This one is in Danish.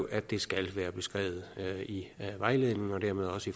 at det skal være beskrevet i vejledningen og dermed også